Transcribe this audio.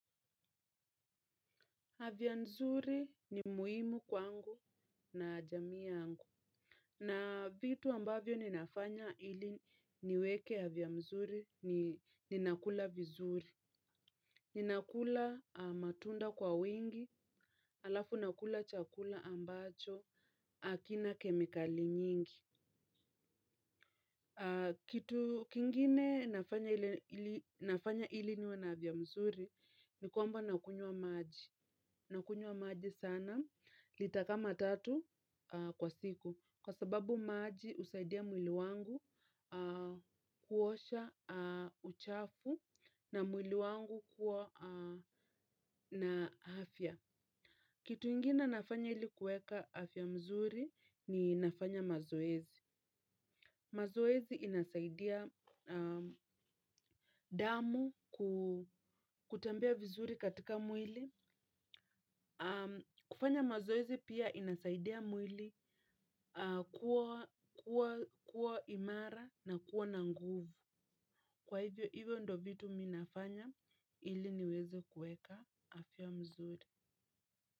Afya nzuri ni muhimu kwangu na jamii yangu. Na vitu ambavyo ninafanya ili niweke afya mzuri ni nakula vizuri. Ninakula matunda kwa wingi alafu nakula chakula ambacho hakina kemikali nyingi. Kitu kingine nafanya ili niwe na afya mzuri ni kwamba nakunywa maji. Nakunywa maji sana, lita kama tatu kwa siku. Kwa sababu maji husaidia mwili wangu kuosha uchafu na mwili wangu kuwa na afya. Kitu ingine nafanya ili kuweka afya mzuri ni nafanya mazoezi. Mazoezi inasaidia damu kutembea vizuri katika mwili. Kufanya mazoezi pia inasaidia mwili kuwa imara na kuwa na nguvu. Kwa hivyo hivyo ndo vitu mimi nafanya ili niwezo kuweka afya mzuri.